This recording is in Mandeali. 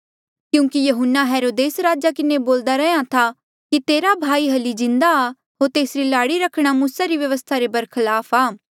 क्यूंकि यहून्ना हेरोदेस राजे किन्हें बोल्दा रैंहयां था कि तेरा भाई हल्ली जिन्दा आ होर तेसरी लाड़ी रखणा मूसा री व्यवस्था रे बरखलाप आ